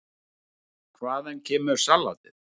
Hvaðan kemur saltið?